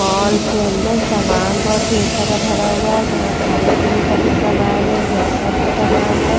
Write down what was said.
Mall के अंदर सामान बहुत ढेर सारा भरा हुआ है जहाँ खाने पीने का भी सामान है घर का भी सामान है।